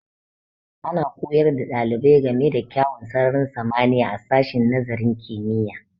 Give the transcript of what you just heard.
Ana koyar da ɗalibai ga me da kyawun sararin samaniya a sashin nazarin kimiyya